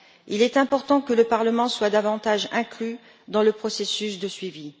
Il est important que le Parlement soit davantage inclus dans le processus de suivi.